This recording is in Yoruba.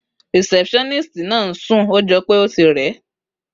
Rìsẹ́púsánísìtì náà ńsún, ójọpẹ́ o tí rè